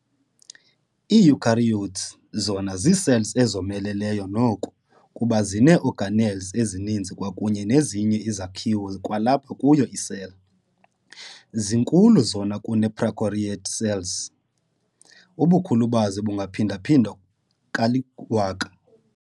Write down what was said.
Ii-Eukaryotes zona zii-cells ezomeleleyo noko kuba zinee-organelles ezininzi kwakunye nezinye izakhiwo kwalapha kuyo i-cell. zinkulu zona kunee-prokaryote cells- Ubukhulu bazo bungaphinda-phindwa kali-1000.